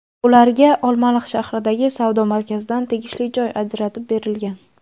Ularga Olmaliq shahridagi savdo markazidan tegishli joy ajratib berilgan.